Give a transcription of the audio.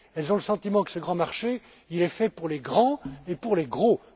marché. Elles ont le sentiment que ce grand marché est fait pour les grands